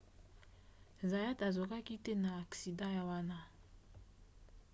zayat azokaki te na aksida wana